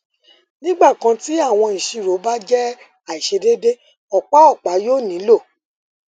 nigbakan ti awọn iṣiro ba jẹ aiṣedede ọpa ọpa yoo nilo